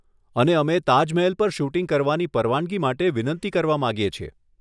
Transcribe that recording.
અને અમે તાજમહેલ પર શૂટિંગ કરવાની પરવાનગી માટે વિનંતી કરવા માંગીએ છીએ.